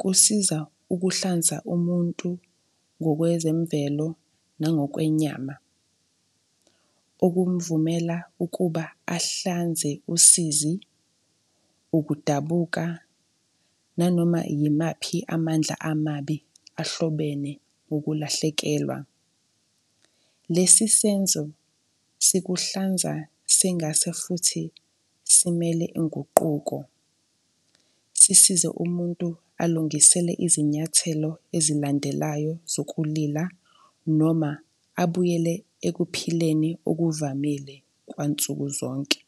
kusiza ukuhlanza umuntu ngokwezemvelo nangokwenyama, okumvumela ukuba ahlanze usizi, ukudabuka nanoma yimaphi amandla amabi ahlobene ukulahlekelwa. Lesi senzo sikuhlanza sengase futhi simele inguquko, sisize umuntu alungisele izinyathelo ezilandelayo zokulila noma abuyele ekuphileni okuvamile kwansukuzonke.